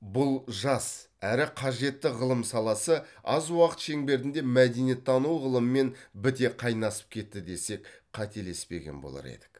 бұл жас әрі қажетті ғылым саласы аз уақыт шеңберінде мәдениеттану ғылымымен біте қайнасып кетті десек қателеспеген болар едік